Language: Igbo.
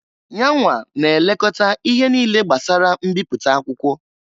Yanwa na elekọta ihe niile gbasara mbipụta akwụkwọ.